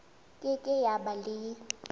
ke ke ya ba le